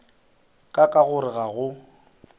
ka ka gore ga go